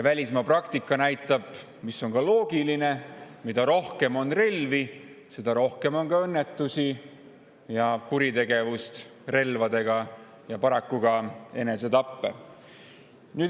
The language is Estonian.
Välismaa praktika näitab – ja see on ka loogiline –, et mida rohkem on relvi, seda rohkem toimub nendega õnnetusi, seda rohkem on relvadega kuritegusid ja paraku ka enesetappe.